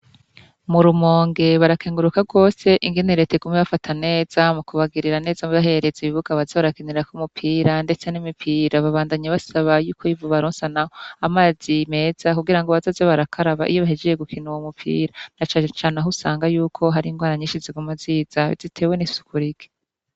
Mu Rumonge barakenguruka rwose ingene Reta iguma ibafata neza mu kubagirira neza ibahereza ibibuga baza bakinirako umupira ndetse n'imipira. Babandanya basaba yuko bobaronsa nabo amazi meza kugira bazoje barakaraba iyo bahejeje gukina uwo mupira. Na cane cane aho usanga yuko hari ingwara nyishi ziguma ziza zitewe n'isuku rike.